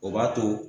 O b'a to